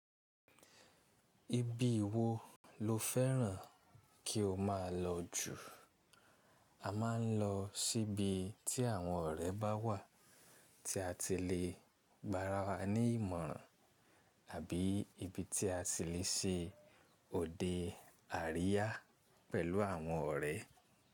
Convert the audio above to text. Ibii wo lo fẹ́ràn kí o máa lọ jù? A máa ń lọ síbi tí àwọn ọ̀rẹ́ bá wà, tí a ti le gbara wa ní ìmọ̀ràn àbií ibi tí a ti le ṣe òde àríyá pẹ̀lú àwọn ọ̀rẹ́.